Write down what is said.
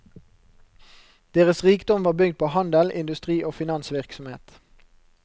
Deres rikdom var bygd på handel, industri og finansvirksomhet.